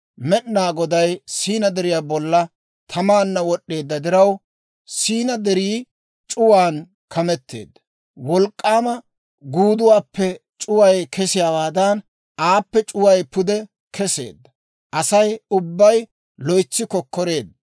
Med'inaa Goday Siina Deriyaa bollan tamaanna wod'd'eedda diraw, Siina Derii c'uwaan kameteedda. Wolk'k'aama guuduwaappe c'uway kesiyaawaadan, aappe c'uway pude keseedda. Asay ubbay loytsi kokkoreedda.